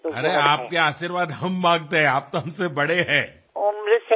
আমরা তো আপনার আশীর্বাদ চাই আপনি আমাদের বয়োজ্যেষ্ঠা